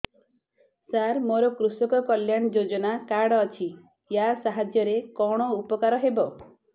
ସାର ମୋର କୃଷକ କଲ୍ୟାଣ ଯୋଜନା କାର୍ଡ ଅଛି ୟା ସାହାଯ୍ୟ ରେ କଣ ଉପକାର ହେବ